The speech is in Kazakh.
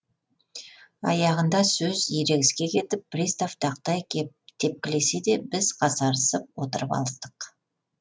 аяғында сөз ерегіске кетіп пристав тақтай тепкілесе де біз қасарысып отырып алыстық